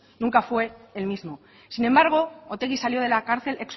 nunca fue el mismo sin embargo otegi salió de la cárcel